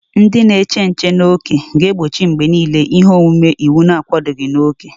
Ndị na-eche nche n'ókè ga-egbochi mgbe niile ihe omume iwu na-akwadoghị na oke.